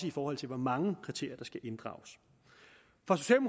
i forhold til hvor mange kriterier der skal inddrages